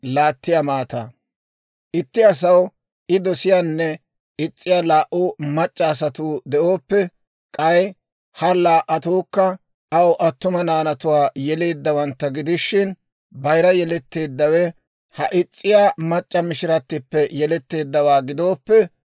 «Itti asaw I dosiyaanne is's'iyaa laa"u mac'c'a asatuu de'ooppe, k'ay ha laa"atuukka aw attuma naanatuwaa yeleeddawantta gidishin, bayira yeletteeddawe ha is's'iyaa mac'c'a mishiratippe yeletteeddawaa gidooppe,